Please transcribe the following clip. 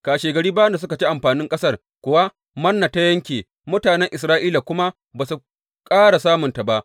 Kashegari bayan da suka ci amfanin ƙasar kuwa, Manna ta yanke, mutanen Isra’ila kuma ba su ƙara samunta ba.